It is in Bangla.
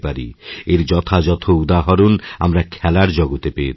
এর যথাযথ উদাহরণআমরা খেলার জগতে পেয়ে থাকি